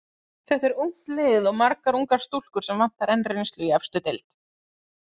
Þetta er ungt lið og margar ungar stúlkur sem vantar enn reynslu í efstu deild.